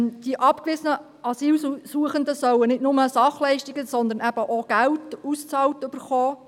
Die abgewiesenen Asylsuchenden sollen nicht nur Sachleistungen, sondern eben auch Geld ausbezahlt erhalten.